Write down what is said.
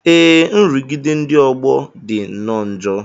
Ee, nrụgide ndị ọgbọ dị nnọọ njọ